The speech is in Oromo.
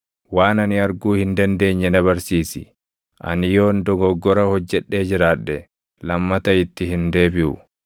Waan ani arguu hin dandeenye na barsiisi; ani yoon dogoggora hojjedhee jiraadhe, lammata itti hin deebiʼu.’